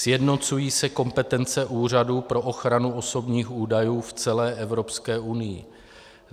Sjednocují se kompetence úřadů pro ochranu osobních údajů v celé Evropské unii.